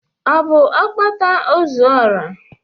Ọ bụ Okpata ozuora?